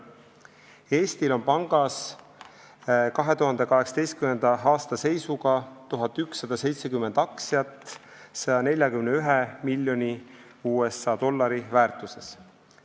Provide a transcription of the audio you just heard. Eestil on pangas 2018. aasta seisuga 1170 aktsiat 141 miljoni USA dollari väärtuses.